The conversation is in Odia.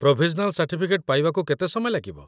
ପ୍ରୋଭିଜନାଲ୍ ସାର୍ଟିଫିକେଟ୍ ପାଇବାକୁ କେତେ ସମୟ ଲାଗିବ?